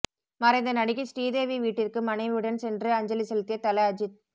மறைந்த நடிகை ஸ்ரீதேவி வீட்டிற்கு மனைவியுடன் சென்று அஞ்சலி செலுத்திய தல அஜித்